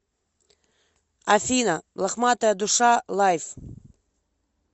афина лохматая душа лайв